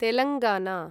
Telangana